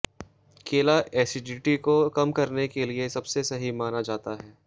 केला एसिडिटी को कम करने के लिए सबसे सही माना जाता है